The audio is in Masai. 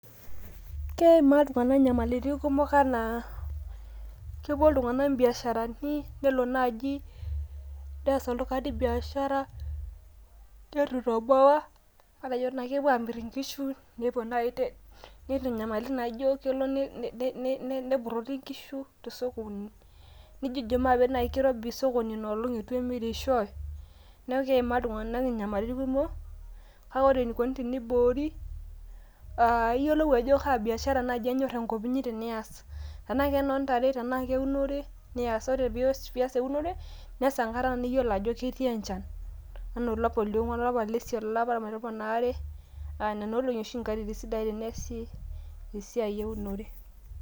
Keimaa iltungana nyamalitin kumok ana, kepuo iltungana ibiasharani nelo naaji nees oltungani biashara netu itoboa, nepuo naaji amirr inkishu, nepuo naaji kelo ne tum nepurrorri inkishu te sokoni, naijo kirobi sokoni inoolong eitu emirishoe neaku keimaa iltungana inyamalitin kumok, kake ore enikoni teniboori, aah iyiolou ajo kaa biashara naaji enyorr enkop inyi te nias, tenaa kenoo ndare tenaa keunore nias, tenaa keunore nias ore pias eunore nias enkata niyiolo ajo etii eneshan ana alapa le ongwan olapa le isiet olapa le tomon oare, aa nena olong'i oshi nkatitin isidain te neesi esiai eunore.